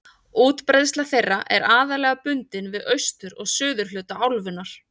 Útbreiðsla þeirra er aðallega bundin við austur- og suðurhluta álfunnar.